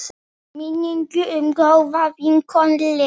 Minning um góða vinkonu lifir.